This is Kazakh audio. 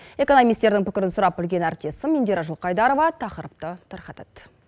экономистердің пікірін сұрап білген әріптесім индира жылқайдарова тақырыпты тарқатады